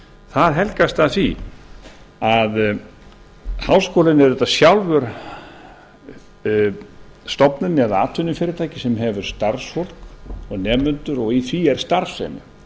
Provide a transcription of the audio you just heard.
það helgast af því að háskólinn er auðvitað sjálfur stofnun eða atvinnufyrirtæki sem hefur starfsfólk eða nemendur og í því er starfsemi